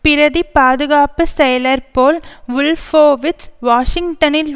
பிரதி பாதுகாப்பு செயளர் போல் வுல்போவிட்ஸ் வாஷிங்டனில்